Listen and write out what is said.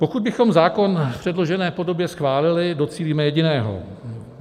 Pokud bychom zákon v předložené podobě schválili, docílíme jediného.